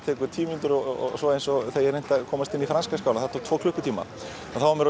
tekur tíu mínútur og svo eins og þegar ég reyndi að komast inn í franska skálann það tók tvo klukkutíma maður